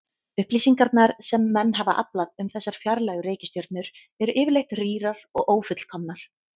Upplýsingarnar sem menn hafa aflað um þessar fjarlægu reikistjörnur eru yfirleitt rýrar og ófullkomnar.